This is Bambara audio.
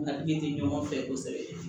Na den tɛ ɲɔgɔn fɛ kosɛbɛ